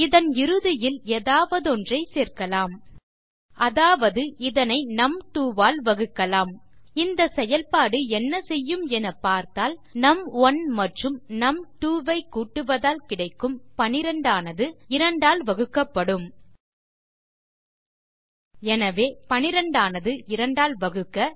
இதன் இறுதியில் ஏதாவதொன்றை சேர்க்கலாம் அதாவது இதனை நும்2 ஆல் வகுக்கலாம் இந்த செயல்பாடு என்ன செய்யும் எனப் பார்த்தால் நும்1 மற்றும் num2வை கூட்டுவதால் கிடைக்கும் 12 ஆனது 2 ஆல் வகுக்கப்படும் எனவே 12 ஆனது 2 ஆல் வகுக்க